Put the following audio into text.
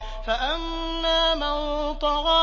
فَأَمَّا مَن طَغَىٰ